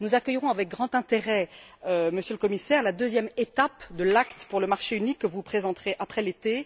Nous accueillerons avec grand intérêt, Monsieur le Commissaire, la deuxième étape de l'acte pour le marché unique, que vous présenterez après l'été.